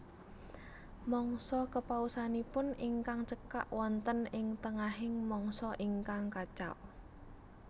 Mangsa kepausanipun ingkang cekak wonten ing tengahing mangsa ingkang kacau